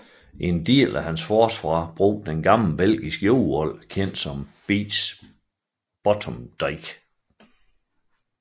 En del af hans forsvar brugte det gamle belgiske jordvold kendt som Beech Bottom Dyke